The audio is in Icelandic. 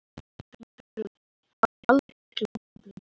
Viðbrögðin hafi valdið miklum vonbrigðum